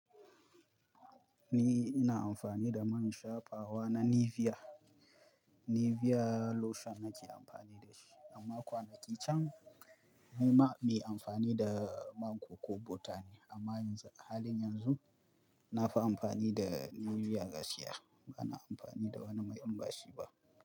Ni ina amfani da man shafawa na Nivea. Nivea lotion nake amfani da shi, amma kwanaki can ni ma mai amfani da man coco butter ne, amma yanzu, a halin yanzu na fi amfani da Nivea gaskiya. Bana amfani da wani mai inbashi ba.